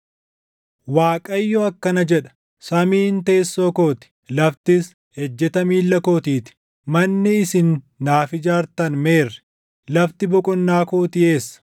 Waaqayyo akkana jedha: “Samiin teessoo koo ti; laftis ejjeta miilla kootii ti. Manni isin naaf ijaartan meerre? Lafti boqonnaa kootii eessa?